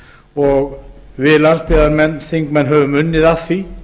og við landsbyggðarþingmenn höfum unnið að því